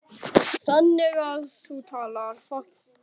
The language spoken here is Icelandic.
Þannig að þú talar.